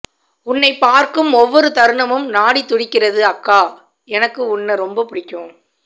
உன்னை பார்க்கும் ஒவ்வொரு தருணமும் நாடி துடிக்கிறது அக்கா எனக்கு உன்ன ரொம்ப பிடிக்கும்